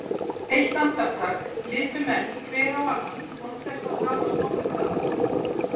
Eitt andartak litu menn hver á annan án þess að hafast nokkuð að.